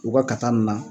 U ka ka taa nin na